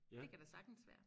Det kan da sagtens være